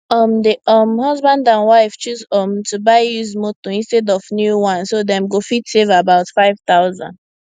um di um husband and wife choose um to buy used motor instead of new one so dem go fit save about 5000